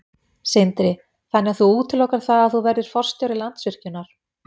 Sindri: Þannig að þú útilokar það að þú verðir forstjóri Landsvirkjunar?